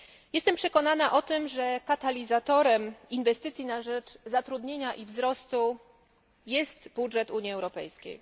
Jestem przekonana o tym, że katalizatorem inwestycji na rzecz zatrudnienia i wzrostu jest budżet Unii Europejskiej.